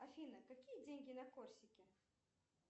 афина какие деньги на корсике